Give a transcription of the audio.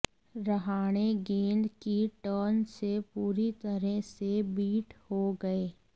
रहाणे गेंद की टर्न से पूरी तरह से बीट हो गए